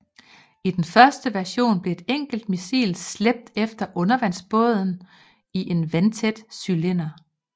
I den første version blev et enkelt missil slæbt efter undervandsbåden i en vandtæt cylinder